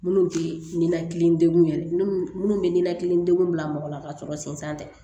Minnu tɛ ninakili degun yɛrɛ minnu bɛ ninakili degun bila mɔgɔ la ka sɔrɔ sen tɛ